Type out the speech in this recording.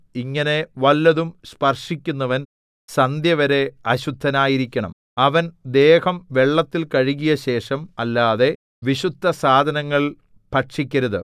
ഇങ്ങനെ വല്ലതും സ്പർശിക്കുന്നവൻ സന്ധ്യവരെ അശുദ്ധനായിരിക്കണം അവൻ ദേഹം വെള്ളത്തിൽ കഴുകിയശേഷം അല്ലാതെ വിശുദ്ധസാധനങ്ങൾ ഭക്ഷിക്കരുത്